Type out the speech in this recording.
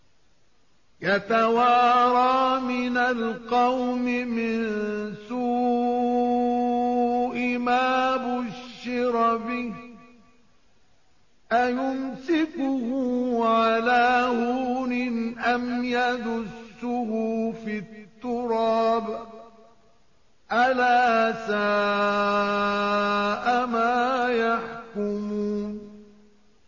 يَتَوَارَىٰ مِنَ الْقَوْمِ مِن سُوءِ مَا بُشِّرَ بِهِ ۚ أَيُمْسِكُهُ عَلَىٰ هُونٍ أَمْ يَدُسُّهُ فِي التُّرَابِ ۗ أَلَا سَاءَ مَا يَحْكُمُونَ